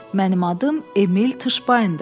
Mənim adım Emil Tışbayndır.